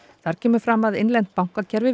þar kemur fram að innlent bankakerfi